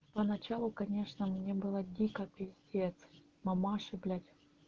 поначалу конечно мне было дико пипец мамаши блять